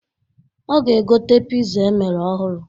Ọ ga egote piza emere ọhụrụ.